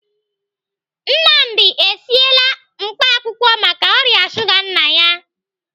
Nnamdi esiela mkpaakwụkwọ maka ọrịa shuga nna ya.